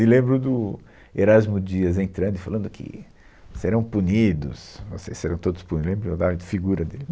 E lembro do Erasmo Dias entrando e falando que serão punidos, vocês serão todos punidos, lembro da figura dele.